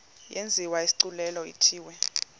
yenziwe isigculelo ithiwe